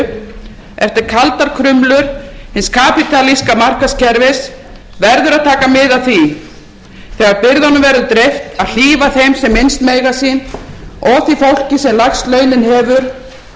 þegar byrðunum verður dreift að hlífa þeim sem minnst mega sín og því fólki sem lægst launin hefur og taka til